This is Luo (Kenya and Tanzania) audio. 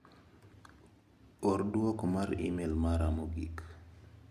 Or duoko mar imel mara mogik.